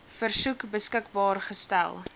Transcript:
versoek beskikbaar gestel